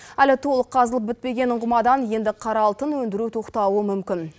әлі толық қазылып бітпеген ұңғымадан енді қара алтын өндіру тоқтауы мүмкін